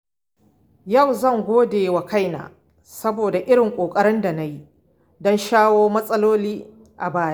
Yau zan godewa kaina saboda irin ƙoƙarin da na yi don shawo kan matsaloli a baya.